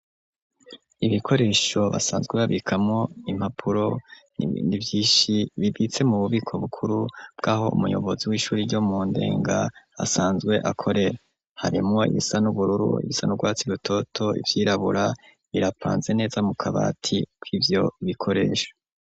Ibikoresho basanzwe babikamwo impapuro nivyishi bibitse mu bubiko bukuru bwaho umuyobozi w'ishure ryo mu ndenga asanzwe akorera harimwo ibisa n'ubururu, ibisa n'urwatsi rutoto ,ibyirabura birapanze neza mu kabati kivyo bikoresho.